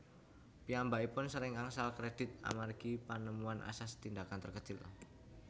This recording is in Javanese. Piyambakipun sering angsal kredit amargi panemuan asas tindakan terkecil